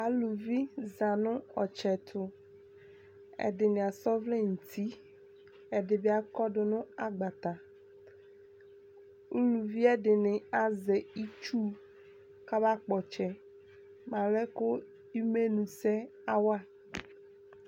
aluvi za no ɔtsɛ to ɛdini asa ɔvlɛ no uti ɛdi bi akɔdo no agbatɛ uluvi ɛdini azɛ itsu ko aba kpɔ ɔtsɛ mo alɛ ko imenusɛ awa